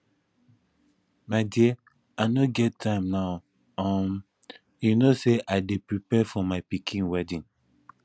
my dear i no get time now um you no say i dey prepare for my pikin wedding